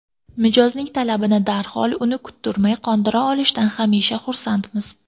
Mijozning talabini darhol, uni kuttirmay qondira olishdan hamisha xursandmiz.